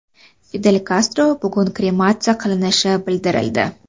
Fidel Kastro bugun krematsiya qilinishi bildirildi.